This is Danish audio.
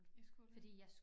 I skole